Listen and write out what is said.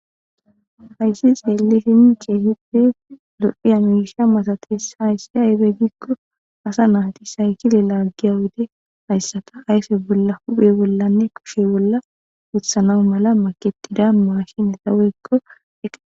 hayssi xeelishin keehipe lo7iya misha masates hayssi aybe gikko asa naati saykile laaggiya wode hayssata ayfe bolla huphe bollanne kushe bolla uthanawu mala maketida mashineta woykko eta